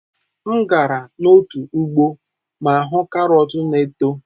M gara n'otu ugbo ma hụ karọt na-eto.